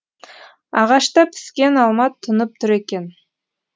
ағашта піскен алма тұнып тұр екен